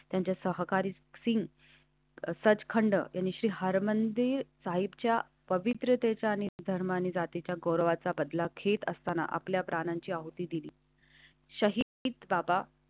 त्यांच्या सहकारी सिंग सचखंड श्री हरमंदिर साहिबच्या पवित्रते जाणे धर्म आणि जातीच्या गौरवाचा बदला घेत असताना आपल्या प्राणांची आहुती दिली. शहीद बाबा.